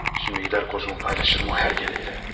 Şimdi gedər kozunu paylaşır mı o hər gələylə.